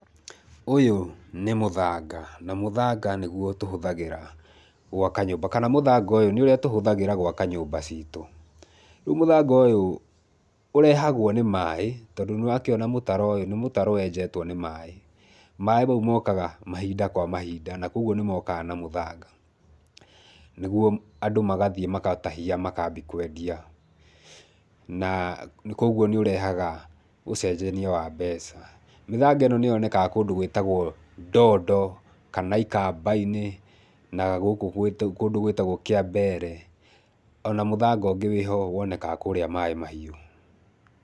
Ũyũ nĩ mũthanga, na mũthanga nĩguo tũhũthagĩra gwaka nyũmba kana mũthanga ũyũ nĩguo tũhũthagĩra gwaka nyũmba ciitũ. Rĩu mũthanga ũyũ ũrehagwo nĩ maaĩ, tondũ nĩ ũrakĩona mũtaro ũyũ nĩ mũtaro wenjetwo nĩ maaĩ. Maaĩ mau mokaga mahinda kwa mahinda na kwoguo nĩ mokaga na mũthanga, nĩguo andũ magathiĩ makatahia makaambi kwendia. Na, kwoguo nĩ ũrehaga ũcenjania wa mbeca. Mĩthanga ĩno nĩ yonekaga kũndũ gwĩtagwo ndoondo kana ikamba-inĩ, na gũkũ kũndũ gwĩtagwo kĩambeere, ona mũthanga ũngĩ wĩ ho wonekaga kũrĩa Maaĩ Mahiũ.